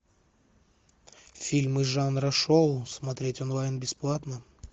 фильмы жанра шоу смотреть онлайн бесплатно